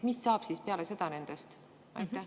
Mis saab siis nendest peale seda?